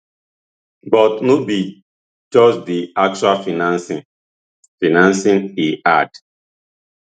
but no be just di actual financing financing e add